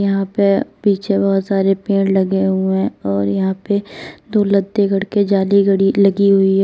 यहां पे पीछे बहोत सारे पेड़ लगे हुए हैं और यहां पे दो जाली लगी हुई है।